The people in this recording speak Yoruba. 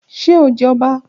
Ṣe o jẹ ọba?